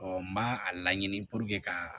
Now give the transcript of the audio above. n b'a a laɲini k'a